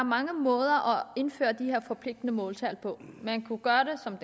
mange måder at indføre de her forpligtende måltal på man kunne gøre det som